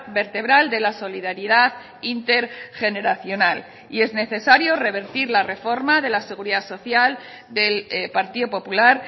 vertebral de la solidaridad intergeneracional y es necesario revertir la reforma de la seguridad social del partido popular